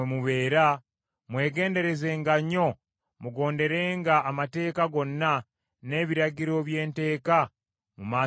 mwegenderezenga nnyo mugonderenga amateeka gonna, n’ebiragiro bye nteeka mu maaso gammwe leero.